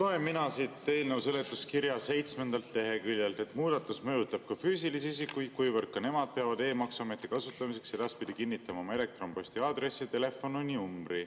Loen mina siit eelnõu seletuskirja seitsmendalt leheküljelt, et "muudatus mõjutab ka füüsilisi isikuid, kuivõrd ka nemad peavad e-maksuameti kasutamiseks edaspidi kinnitama oma elektronposti aadressi ja telefoninumbri.